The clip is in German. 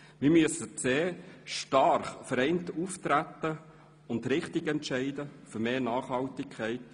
Wir müssen stark vereint auftreten und richtig entscheiden für mehr Nachhaltigkeit.